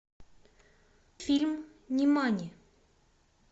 фильм нимани